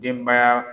Denbaya